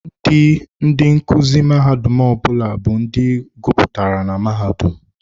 Ndị ndị nkuzi mahadum ọbụla bụ ndị guputara na mahadum.